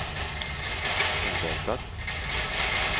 oväntat